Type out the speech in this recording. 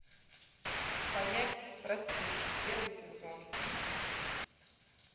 понять простить первый сезон